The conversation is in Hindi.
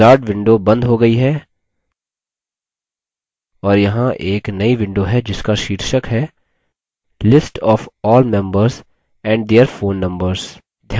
wizard window बंद हो गयी है और यहाँ एक नई window है जिसका शीर्षक है list of all members and their phone numbers